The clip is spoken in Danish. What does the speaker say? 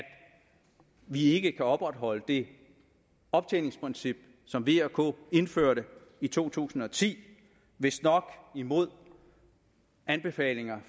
vi ikke kan opretholde det optjeningsprincip som v og k indførte i to tusind og ti vistnok imod anbefalinger